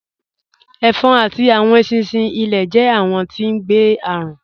Ẹ̀fọ̀n àti awọn èṣinṣin ilẹ̀ jẹ̀ awọn tí ngbé arùn